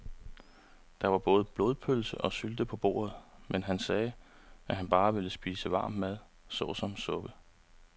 Der var både blodpølse og sylte på bordet, men han sagde, at han bare ville spise varm mad såsom suppe.